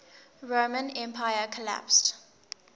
roman empire collapsed